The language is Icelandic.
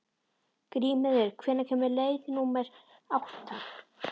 Grímheiður, hvenær kemur leið númer átta?